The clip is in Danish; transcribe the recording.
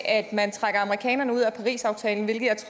at man trækker amerikanerne ud af parisaftalen hvilket